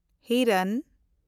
ᱦᱤᱨᱟᱱ